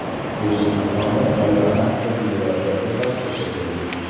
O‘zbekistonda Aeronavtika federatsiyasi tashkil etildi.